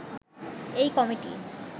এই কমিটি